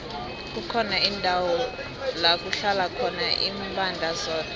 kukhona indawo lakuhlala khona imbandana zodwa